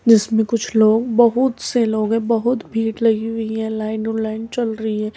जिसमें कुछ लोग बहुत से लोग है बहुत भीड़ लगी हुई है लाइन लाइन चल रही है।